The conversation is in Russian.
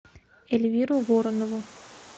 эльвиру воронову